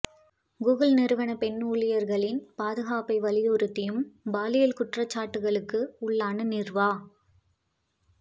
Google நிறுவன பெண் ஊழியர்களின் பாதுகாப்பை வலியுறுத்தியும் பாலியல் குற்றச்சாட்டுகளுக்கு உள்ளான நிர்வா